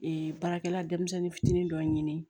Ee baarakɛla denmisɛnnin fitinin dɔ ɲini